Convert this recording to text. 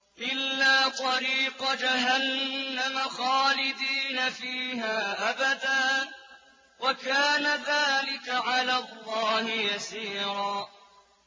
إِلَّا طَرِيقَ جَهَنَّمَ خَالِدِينَ فِيهَا أَبَدًا ۚ وَكَانَ ذَٰلِكَ عَلَى اللَّهِ يَسِيرًا